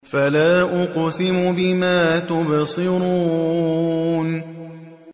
فَلَا أُقْسِمُ بِمَا تُبْصِرُونَ